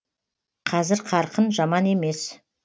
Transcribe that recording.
қазір қарқын жаман емес